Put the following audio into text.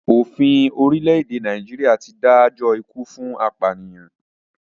Òfin orílẹ̀-èdè Nàìjíríà ti dájọ́ ikú fún apànìyàn.